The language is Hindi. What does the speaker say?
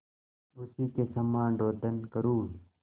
उसी के समान रोदन करूँ